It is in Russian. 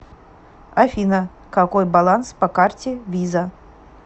афина какой баланс по карте виза